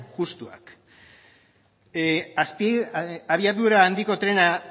justuak abiadura handiko trena